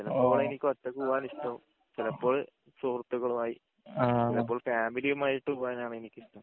ചെലപ്പോ എനിക്ക് ഒറ്റക് പോവാൻ ഇഷ്ടം ചിലപ്പോൾ സുഹൃത്തുക്കളുമായി ചെലപ്പോൾ ഫാമിലിയുമായിട്ട് പോവാൻ ആണ് എനിക്ക് ഇഷ്ടം